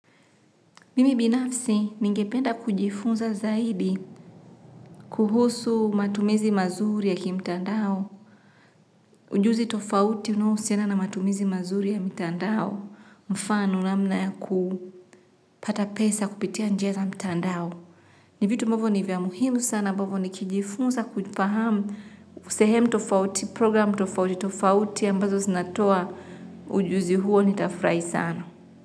Mimi binafsi ningependa kujifunza zaidi kuhusu matumizi mazuri yaki mtandao. Ujuzi tofauti unohusiana na matumizi mazuri ya mtandao mfano namna ya kupata pesa kupitia njia za mtandao. Ni vitu ambavo ni vya muhimu sana ambavo ni kijifunza kujifahamu sehemu tofauti progiramu tofauti tofauti ambazo zinatoa ujuzi huo ni tafurahi sana.